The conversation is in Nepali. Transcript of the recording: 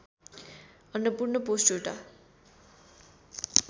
अन्नपूर्ण पोष्ट एउटा